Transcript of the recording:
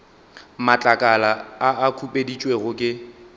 matlakala a a khupeditšwego ke